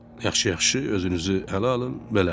Yaxşı, yaxşı, özünüzü ələ alın, belə.